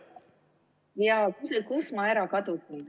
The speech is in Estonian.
Kus ma ära kadusin?